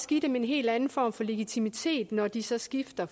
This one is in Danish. give dem en helt anden form for legitimitet når de så skifter